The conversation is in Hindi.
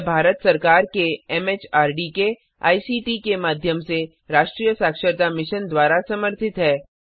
यह भारत सरकार के एमएचआरडी के आईसीटी के माध्यम से राष्ट्रीय साक्षरता मिशन द्वारा समर्थित है